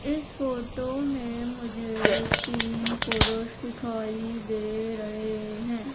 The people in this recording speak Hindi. इस फोटो में मुझे तीन पुरुष दिखाई दे रहे हैं।